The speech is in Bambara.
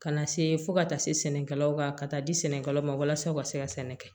Kana see fo ka taa se sɛnɛkɛlaw ma ka taa di sɛnɛkɛlaw ma walasa u ka se ka sɛnɛ kɛ